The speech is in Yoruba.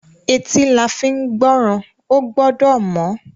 Etí la fín gbọ́ràn. Ó gbọ́dọ̀ mọ́.